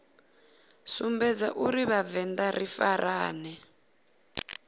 sumbedza uri vhavenḓa ri farane